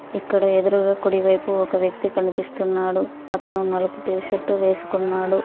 ఇక్కడ ఎదురుగా కుడివైపు ఒక వ్యక్తి కనిపిస్తున్నాడు. అతను నలుపు టీషర్ట్ వేసుకున్నాడు.